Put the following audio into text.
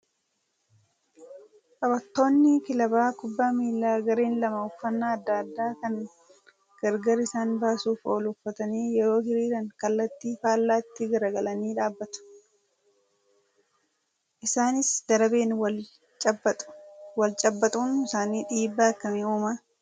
Taphattoonni kilaba kubbaa miilaa gareen lama uffannaa adda addaa kan gargar isaan baasuuf oolu uffatanii yeroo hiriiran kallattii faallaatti garagaralanii dhaabbatu. Isaanis darabeen wal cabbaxu. Wal cabbaxuun isaanii dhiibbaa akkamii uumaa?